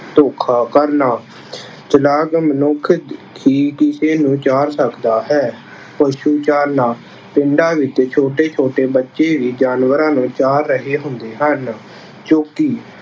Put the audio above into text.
ਧੋਖਾ ਕਰਨਾ- ਚਲਾਕ ਮਨੁੱਖ ਹੀ ਕਿਸੇ ਨੂੰ ਚਾਰ ਸਕਦਾ ਹੇ। ਪਸ਼ੂ ਚਾਰਨਾ- ਪਿੰਡਾਂ ਵਿੱਚ ਛੋਟੇ ਛੋਟੇ ਬੱਚੇ ਵੀ ਜਾਨਵਰਾਂ ਨੂੰ ਚਾਰ ਰਹੇ ਹੁੰਦੇ ਹਨ। ਚੌਂਕੀ -